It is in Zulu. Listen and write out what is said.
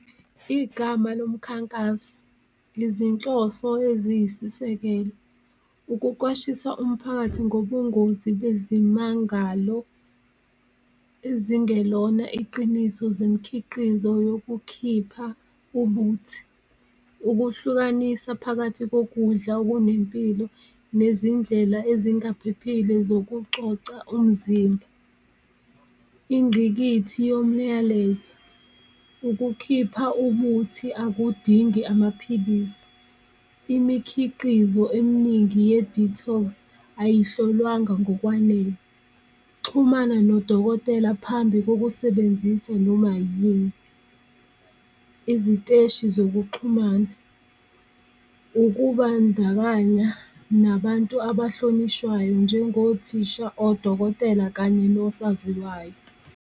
Igama lomkhankasi, izinhloso eziyisisekelo, ukuqwashisa umphakathi ngobungozi bezimangalo ezingelona iqiniso zemkhiqizo yokukhipha ubuthi, ukuhlukanisa phakathi kokudla okunempilo nezindlela ezingaphephile zokucoca umzimba. Ingqikithi yomyalezo, ukukhipha ubuthi akudingi amaphilisi, imikhiqizo emningi ye-detox, ayihlolwanga ngokwanele, xhumana nodokotela phambi kokusebenzisa noma yini. Iziteshi zokuxhumana, ukubandakanya nabantu abahlonishwayo njengothisha, odokotela kanye nosaziwayo.